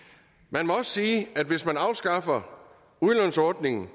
man må også sige at hvis man afskaffer udlånsordningen